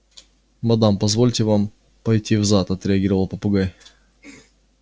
мадам позвольте вам пойти в зад отреагировал попугай